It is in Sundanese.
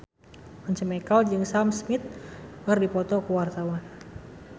Once Mekel jeung Sam Smith keur dipoto ku wartawan